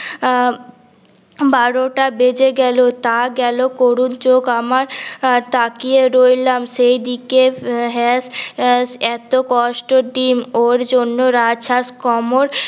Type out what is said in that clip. আহ বারো টা বেজে গেলো তা গেলো করুন চোখ আমার তাকিয়ে রইলাম সেইদিকে হ্যাস এত কষ্টের ডিম ওর জন্য রাজ হাস কমার